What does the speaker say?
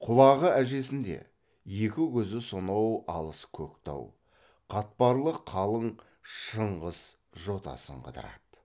құлағы әжесінде екі көзі сонау алыс көктау қатпарлы қалың шыңғыс жотасын қыдырады